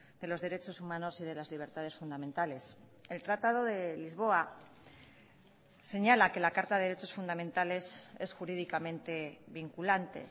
de los derechos humanos y de las libertades fundamentales el tratado de lisboa señala que la carta de derechos fundamentales es jurídicamente vinculante